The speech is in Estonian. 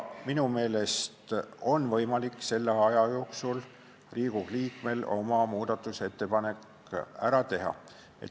Minu meelest on selle aja jooksul Riigikogu liikmel võimalik oma muudatusettepanekud ära teha.